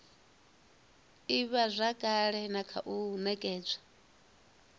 ivhazwakale na kha u nekedzwa